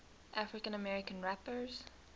african american rappers